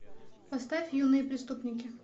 поставь юные преступники